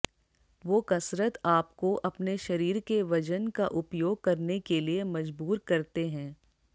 वो कसरत आपको अपने शरीर के वजन का उपयोग करने के लिए मजबूर करते हैं